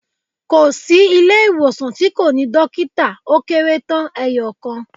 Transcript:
Kò sí ilé ìwòsàn tí kò ní Dókítà ó kérétán eeyòkan